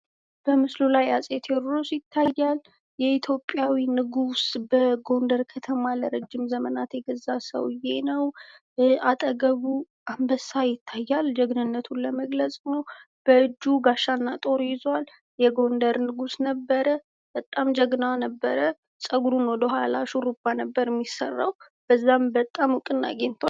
በምስሉ ላይ አጼ ቴዎድሮስ ይታያል። የኢትዮጵያ ንጉስ በጎንደር ከተማ በጣም ለረጅም ዘመናት የገዛ ሰውየ ነው፣ አጠገቡ አንበሳ ይታያል ጀግንነቱን ለመግለጽ ሲሆን፤ በእጁ ጋሻ እና ጦር ይዟል የጎንደር ንጉስ ነበር። በጣም ጀግና ነበር ። ጸጉሩን ወደ ኋላ ሹሩባ ነበር የሚሰራ በዚህም እውቅናን አግኝቷል።